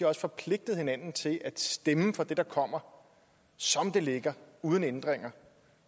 har forpligtet hinanden til at stemme for det der kommer som det ligger uden ændringer